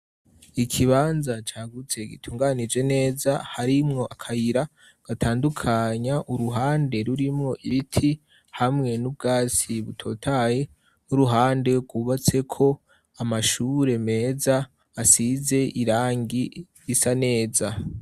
Ikibanza cagutse gitunganije neza, harimwo akayira gatandukanya uruhande rurimwo ibiti hamwe n'ubwatsi butotaye n'uruhande rwubatseko amashure meza, asize irangi risa neza.